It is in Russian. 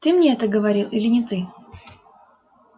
ты мне это говорил или не ты